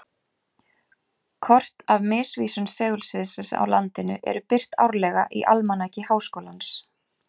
Kort af misvísun segulsviðsins á landinu eru birt árlega í Almanaki Háskólans.